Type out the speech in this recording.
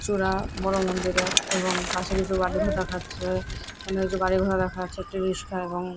চূড়া বড় মন্দিরের এবং পাশে কিছু বাড়িঘর দেখাচ্ছে এখান কিছু গাড়িঘোড়া দেখা যাচ্ছে। একটি রিস্কা এবং --